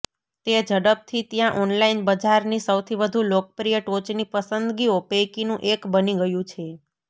તે ઝડપથી ત્યાં ઓનલાઇન બજારની સૌથી વધુ લોકપ્રિય ટોચની પસંદગીઓ પૈકીનું એક બની ગયું છે